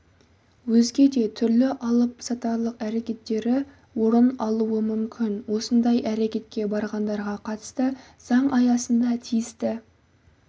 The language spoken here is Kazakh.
өзге де түрлі алыпсатарлық әрекеттері орын алуы мүмкін осындай әрекетке барғандарға қатысты заң аясында тиісті